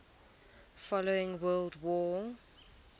following world war